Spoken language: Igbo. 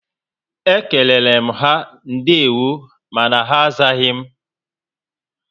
Ékéléle m ha ndewo mànà ha azaghi m